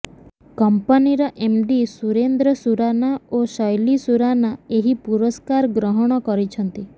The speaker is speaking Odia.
କଂପାନିର ଏମ୍ଡି ସୁରେନ୍ଦ୍ର ସୁରାନା ଓ ଶ୘ଲି ସୁରାନା ଏହି ପୁରସ୍କାର ଗ୍ରହଣ କରିଛନ୍ତି